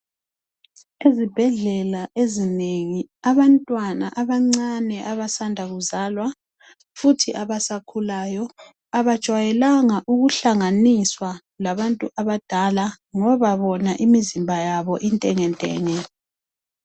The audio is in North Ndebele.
Ezibhedlela ezinengi abantwana abancane abasanda kuzalwa futhi abasakhulayo abajwayelanga ukuhlanganiswa labantu abadala ngoba bona imizimba yabo intengentenge.